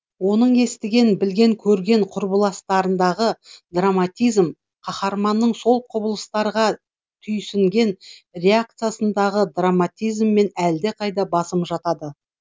оның естіген білген көрген құбылыстарындағы драматизм қаһарманның сол құбылыстарға түйсінген реакциясындағы драматизмнен әлдеқайда басым жатады